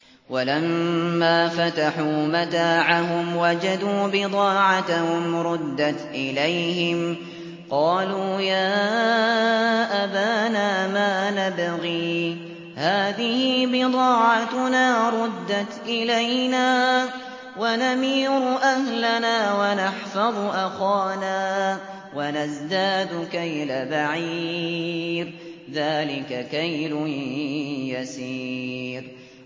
وَلَمَّا فَتَحُوا مَتَاعَهُمْ وَجَدُوا بِضَاعَتَهُمْ رُدَّتْ إِلَيْهِمْ ۖ قَالُوا يَا أَبَانَا مَا نَبْغِي ۖ هَٰذِهِ بِضَاعَتُنَا رُدَّتْ إِلَيْنَا ۖ وَنَمِيرُ أَهْلَنَا وَنَحْفَظُ أَخَانَا وَنَزْدَادُ كَيْلَ بَعِيرٍ ۖ ذَٰلِكَ كَيْلٌ يَسِيرٌ